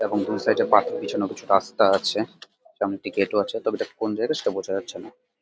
এবং দু সাইড -এ বাঁকি কিছু না কিছু রাস্তা আছে এবং একটি গেট -ও আছে। তবে তা কোন জায়গা সেটা বোঝা যাচ্ছে না ।